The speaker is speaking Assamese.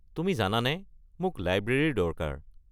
তুমি জানানে মোক লাইব্ৰেৰীৰ দৰকাৰ।